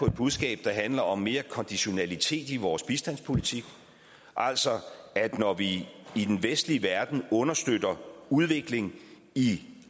et budskab der handler om mere konditionalitet i vores bistandspolitik altså at når vi i den vestlige verden understøtter udvikling i